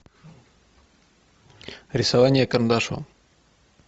рисование карандашом